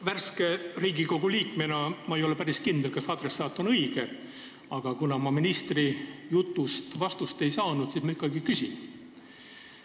Värske Riigikogu liikmena ei ole ma päris kindel, kas adressaat on õige, aga kuna ma ministri jutust vastust ei saanud, siis ma ikkagi küsin.